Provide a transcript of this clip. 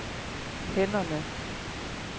hænderne